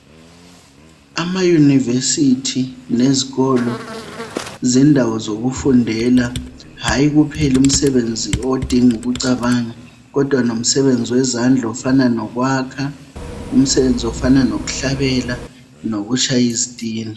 AmaYunivesi lezikolo zendawo yokufundela hayi kuphela umsebenzi odinga ukucabanga kodwa lomsebenzi wezandla ofana lokwakha ,umsebenzi ofana lokuhlabela lokutshaya izitina.